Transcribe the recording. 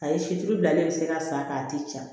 A ye situlu bilalen bɛ se ka san k'a ti ja